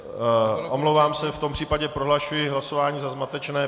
Omlouvám se, v tom případě prohlašuji hlasování za zmatečné.